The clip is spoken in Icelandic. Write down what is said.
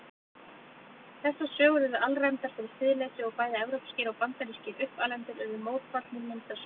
Þessar sögur urðu alræmdar fyrir siðleysi og bæði evrópskir og bandarískir uppalendur urðu mótfallnir myndasögum.